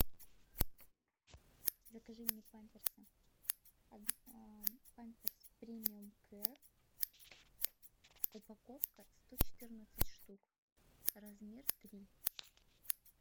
закажи мне памперсы памперс премиум кэр упаковка сто четырнадцать штук размер три